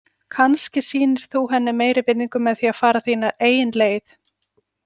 Kannski sýnir þú henni meiri virðingu með því að fara þína eigin leið.